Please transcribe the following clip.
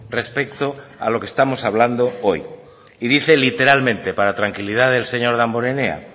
respecto a lo que estamos hablando hoy y dice literalmente para tranquilidad del señor damborenea